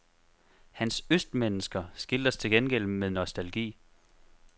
Hans østmennesker skildres til gengæld med nostalgi.